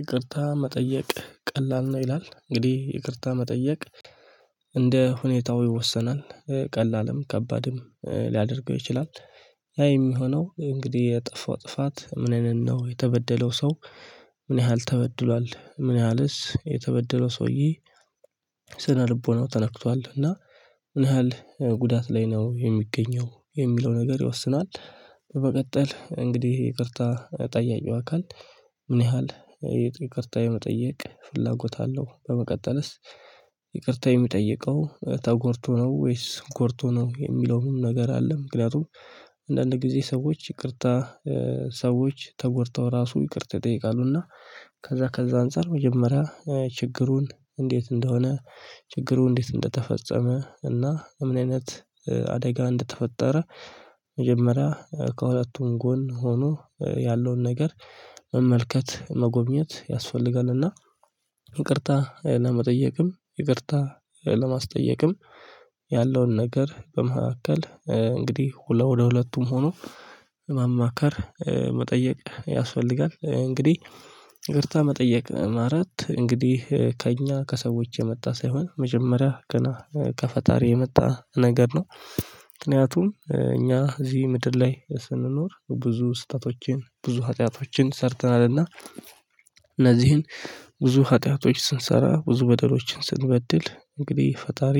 ይቅርታ መጠየቅ ቀላል ነው ይላል። እንግዲህ ይቅርታ መጠየቅ እንደ ሁኔታው ይወሰናል። ቀላልም ከባድም ሊያደርገው ይችላል። ያ የሚሆነው እንግዲህ የጠፋው ጥፋት ምን አይነት ነው? የተበደለው ሰው ምን ያህል ተበድሏል? ምን ያህልስ የተበደለው ሰውዬ ስነ ልቦናው ተነክቷል? እና ምን ያህል ጉዳት ላይ ነው የሚገኘው? የሚለው ነገር ይወስነዋል። በመቀጠል እንግዲህ ይቅርታ ጠያቂው አካል ምን ያህል ይቅርታ የመጠየቅ ፍላጎት አለው? በመቀጠልስ ይቅርታ የሚጠይቀው ተጎድቶ ነው? ወይስ ጎድቶ ነው? የሚለውም ነገር አለ። ምክንያቱም አንዳንድ ጊዜ ሰዎች ይቅርታ ሰዎች ተጎድተው ራሱ ይቅርታ ይጠይቃሉ። እና ከዛ ከዛ አንፃር መጀመሪያ ችግሩን እንዴት እንደሆነ ችግሩ እንዴት እንደተፈጸመ እና ምን አይነት አደጋ እንደተፈጠረ መጀመሪያ ከሁለቱም ጎን ሆኖ ያለውን ነገር መመልከት መጎብኘት ያስፈልጋል። እና ይቅርታ ለመጠየቅም ይቅርታ ለማስጠየቅም ያለውን ነገር በመካከል እንግዲህ ሁለቱ ወደ ሁለቱም ሆኖ ማማከር መጠየቅ ያስፈልጋል። እንግዲህ ይቅርታ መጠየቅ ማለት እንግዲህ ከእኛ ከሰዎች የመጣ ሳይሆን መጀመሪያ ገና ከፈጣሪ የመጣ ነገር ነው። ምክንያቱም እኛ እዚህ ምድር ላይ ስንኖር ብዙ ስህተቶችን ብዙ ሀጢያቶችን ሰርተናል። እና እነዚህን ብዙ ኃጢአቶች ስንሰራ ብዙ በደሎችን ስንበድል እንግዲህ ፈጣሪ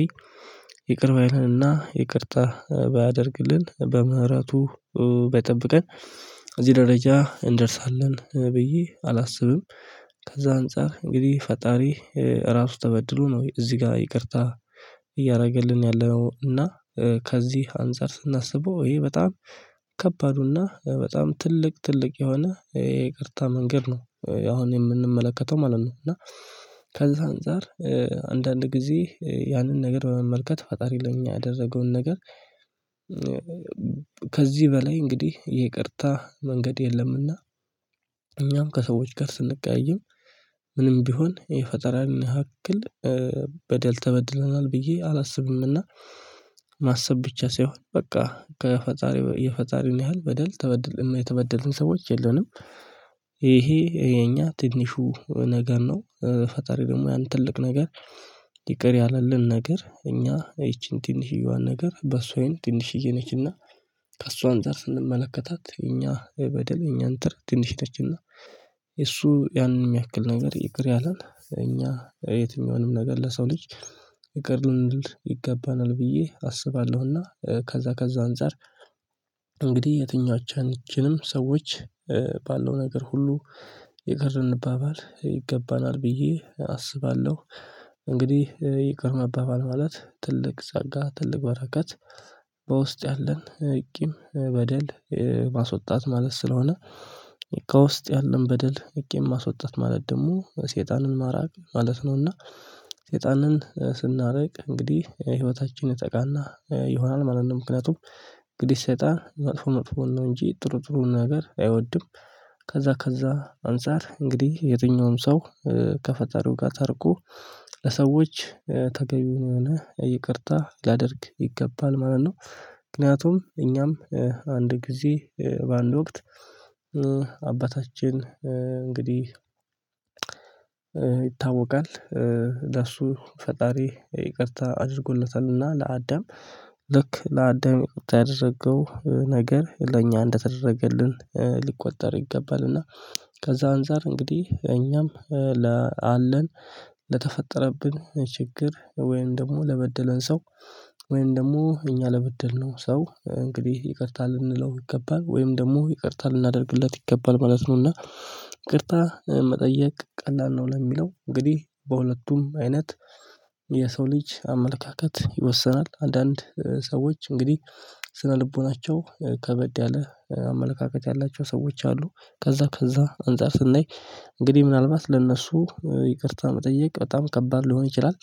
ይቅር ባይለንና ይቅርታ ባያደርግልን በምህረቱ ባይጠብቀን እዚህ ደረጃ እንደርሳለን ብዬ አላስብም። ከዛ አንፃር እንግዲህ ፈጣሪ ራሱ ተበድሎ ነው እዚህ ጋር ይቅርታ እያደረገልን ያለው። እና ከዚህ አንፃር ስናስበው ይሄ በጣም ከባዱና በጣም ትልቅ ትልቅ የሆነ የይቅርታ መንገድ ነው አሁን የምንመለከተው ማለት ነው። እና ከዛ አንፃር አንዳንድ ጊዜ ያንን ነገር በመመልከት ፈጣሪ ለኛ ያደረገውን ነገር ከዚህ በላይ እንግዲህ ይቅርታ መንገድ የለምና እኛም ከሰዎች ጋር ስንቀያይም ምንም ቢሆን የፈጣሪን ያክል በደል ተበድለናል ብዬ አላስብም። እና ማሰብ ብቻ ሳይሆን በቃ ከፈጣሪ የፈጣሪን ያህል በደል ተበደልን እና የተበደልን ሰዎች የለንም። ይሄ የኛ ትንሹ ነገር ነው። ፈጣሪ ደግሞ ያን ትልቅ ነገር ይቅር ያለልን ነገር እኛ ይቺን ትንሽዬዋን ነገር በእሱ አይን ትንሽዬ ነች፤ እና ከእሱ አንፃር ስንመለከታት እኛ በደል እኛን እንትን ትንሽ ነችና እሱ ያንን የሚያክል ነገር ይቅር ያለን እኛ የትኛውንም ነገር ለሰው ልጅ ይቀር ልንል ይገባናል ብዬ አስባለሁና፤ ከዛ ከዛ አንፃር እንግዲህ የትኛዎቻችንም ሰዎች ባለው ነገር ሁሉ ይቅር ልንባባል ይገባናል ብዬ አስባለሁ። እንግዲህ ይቅር መባባል ማለት ትልቅ ጸጋ ትልቅ በረከት በውስጥ ያለን ቂም በደል ማስወጣት ማለት ስለሆነ ከውስጥ ያለን በደል ቂም ማስወጣት ማለት ደግሞ ሰይጣንን ማራቅ ማለት ነው፤ እና ሰይጣንን ስናርቅ እንግዲህ ህይወታችን የተቃና ይሆናል ማለት ነው። ምክንያቱም እንግዲህ ሰይጣን መጥፎ መጥፎ ነው እንጂ ጥሩ ጥሩ ነገር አይወድም። ከዛ ከዛ አንፃር እንግዲህ የትኛውም ሰው ከፈጣሪው ጋር ታርቆ ለሰዎች ተገቢ የሆነ ይቅርታ ሊያደርግ ይገባል ማለት ነው። ምክንያቱም እኛም አንድ ጊዜ በአንድ ወቅት አባታችን እንግዲህ ይታወቃል። ለእሱ ፈጣሪ ይቅርታ አድርጎለታል። እና ለአዳም ልክ ለአዳም ያደረገው ነገር ለእኛ እንደተደረገልን ሊቆጠር ይገባል። እና ከዛ አንፃር እንግዲህ እኛም ላለን ለተፈጠረብን ችግር ወይም ደግሞ ለበደለን ሰው ወይም ደግሞ እኛ ለበደልነው ሰው እንግዲህ ይቅርታ ልንለው ይገባል ወይም ደግሞ ይቅርታ ልናደርግለት ይገባል ማለት ነው። እና ይቅርታ መጠየቅ ቀላል ነው ለሚለው እንግዲህ በሁለቱም አይነት የሰው ልጅ አመለካከት ይወሰናል። አንዳንድ ሰዎች እንግዲህ ስነልቦናቸው ከበድ ያለ አመለካከት ያላቸው ሰዎች አሉ። ከዛ ከዛ አንፃር ስናይ እንግዲህ ምናልባት ለእነሱ ይቅርታ መጠየቅ በጣም ከባድ ሊሆን ይችላል።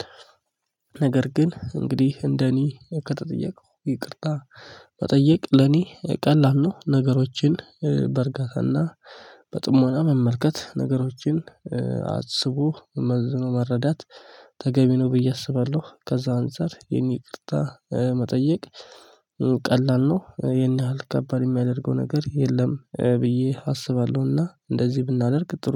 ነገር ግን እንግዲህ እንደኔ ከተጠየቀው ይቅርታ መጠየቅ ለኔ ቀላል ነው። ነገሮችን በእርጋታ እና በጥሞና መመልከት ነገሮችን አስቦ መዝኖ መረዳት ተገቢ ነው ብዬ አስባለሁ። ከዛ አንፃር የኔ ይቅርታ መጠየቅ ቀላል ነው። ይሄን ያህል ከባድ የሚያደርገው ነገር የለም ብዬ አስባለሁ። እና እንደዚህ ብናደርግ